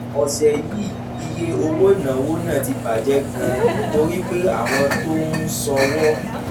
ọ̀sẹ̀ yìí iye owó ìnáwó náà ti bà jẹ́ gan-an torí pé àwọn tó ń ṣọ̀wọ́